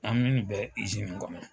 An me ni bɛ izini kɔnɔ